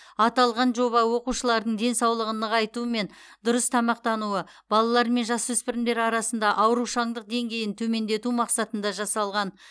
аталған жоба оқушылардың денсаулығын нығайту мен дұрыс тамақтануы балалар мен жасөспірімдер арасында аурушаңдық деңгейін төмендету мақсатында жасалған